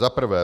Za prvé.